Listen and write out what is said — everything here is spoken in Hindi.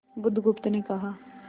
बुधगुप्त ने कहा